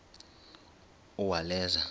uwaleza